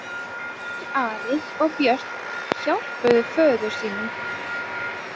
Þeir Ari og Björn hjálpuðu föður sínum.